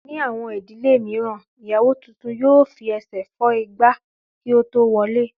Ní àwọn ìdílé mìíràn, ìyàwó tuntun yóò fi ẹsẹ̀ fọ́ igbá kí ó tó wọlé